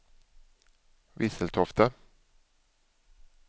Visseltofta